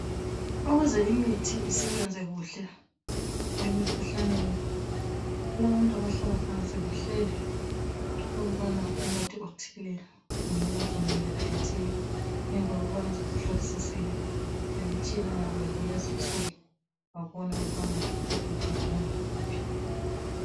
Ukuze imithi isebenze kuhle emikhuhlaneni kulabantu abahlala phansi bahlele ukubana umuthi othile unganathwa ngendlela ethile ngemva kokubana sebehlolisisile ngemitshina yabo yakulezinsuku babona ukubana lokhu kuhambelana lakuphi